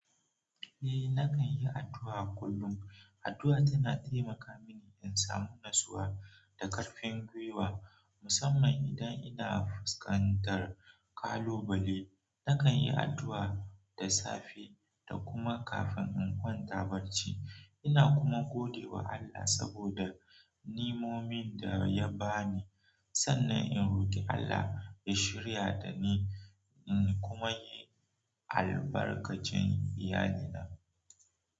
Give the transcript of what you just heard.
Eh nakan yi addu'a kullum. Addu'a tana taimaka mini in samu natsuwa da ƙarfin gwiwa, musamman idan ina fuskantar kalubale. Nakan yi addu'a da safe da kuma kafin in kwanta barci. Ina kuma godewa Allah saboda ni'imomin da ya bani sannan in roki Allah ya shiryar da ni kuma ya albarkaci iyalina.